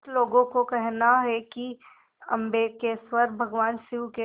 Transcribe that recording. कुछ लोगों को कहना है कि अम्बकेश्वर भगवान शिव के